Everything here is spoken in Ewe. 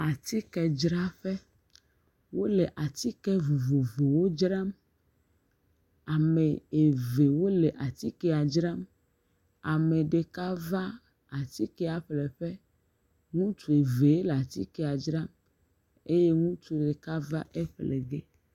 Teƒe ya tse dze abe amatsidzraƒe eye ŋutsu wɔme etɔ̃ le afi ma. Ɖeka le amatsiwo kpɔ ɖa ya ɖeka tse le amatsi dzra nɛ ya ɖeka tse tsi atsitre eŋku me le dzɔdzɔm be yeaxɔ yeƒe amatsi.